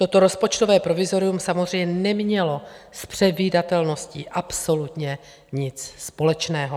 Toto rozpočtové provizorium samozřejmě nemělo s předvídatelností absolutně nic společného.